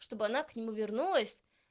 чтобы она к нему вернулась